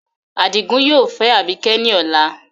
Adigun yoo fẹ Abike ọla